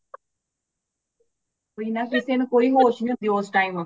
ਓਹੀ ਨਾ ਕਿਸੀ ਨੂੰ ਕੋਈ ਹੋਸ਼ ਨਹੀਂ ਹੋਂਦੀ ਔਸ਼ time